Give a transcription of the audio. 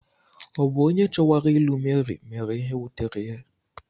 Ọ̀ bụ onye chowara ilu Mary mere ihe wutere ya?